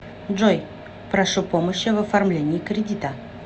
джой прошу помощи в оформлении кредита